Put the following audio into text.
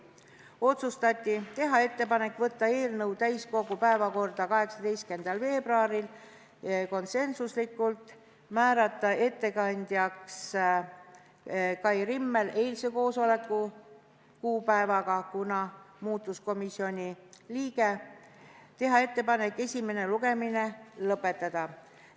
Otsustati järgmist: teha ettepanek võtta eelnõu täiskogu päevakorda 18. veebruaril, konsensuslikult; määrata ettekandjaks Kai Rimmel – seda otsustati eilsel koosolekul, kuna muutus komisjoni liige – ning teha ettepanek esimene lugemine lõpetada.